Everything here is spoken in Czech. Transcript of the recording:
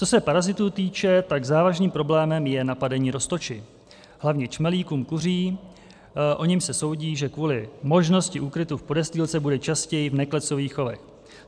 Co se parazitů týče, tak závažným problémem je napadení roztoči, hlavně čmelíkem kuřím, o němž se soudí, že kvůli možnosti úkrytu v podestýlce bude častěji v neklecových chovech.